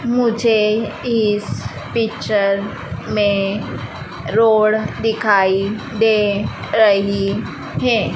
मुझे इस पिक्चर में रोड दिखाई दे रही हैं।